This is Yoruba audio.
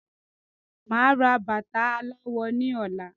Máa ra bata aláwọ ní ọ̀la